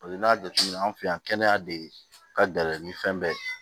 n'i y'a jateminɛ an fɛ yan kɛnɛya de ka gɛlɛn ni fɛn bɛɛ ye